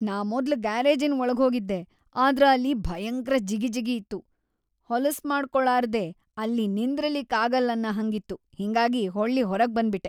ನಾ ಮೊದ್ಲ್‌ ಗ್ಯಾರೇಜಿನ್‌ ವಳಗ್ಹೋಗಿದ್ದೆ ಆದ್ರ ಅಲ್ಲಿ ಭಯಂಕ್ರ ಜಿಗಿಜಿಗಿ ಇತ್ತು, ಹೊಲಸ್ಮಾಡ್ಕೊಳಾರ್ದೆ ಅಲ್ಲಿ ನಿಂದ್ರಲಿಕ್‌ ಆಗಲ್ಲನ್ನ ಹಂಗಿತ್ತು ಹಿಂಗಾಗಿ ಹೊಳ್ಳಿ ಹೊರಗ್ ಬಂದ್ಬಿಟ್ಟೆ.